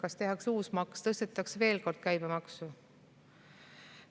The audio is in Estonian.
Kas tehakse uus maks, tõstetakse veel kord käibemaksu?